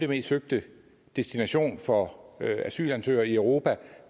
mest søgte destinationen for asylansøgere i europa og